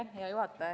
Hea juhataja!